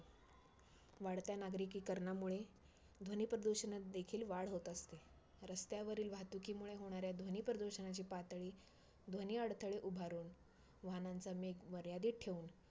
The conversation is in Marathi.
वाढत्या नागरिकीकरणामुळे ध्वनी प्रदूषणात देखिल वाढ होत असते. रस्त्यावरील वाहतूकीमुळे होणाऱ्या ध्वनी प्रदूषणाची पातळी ध्वनी अडथळे उभारून, वाहनांचा वेग मर्यादित ठेवून,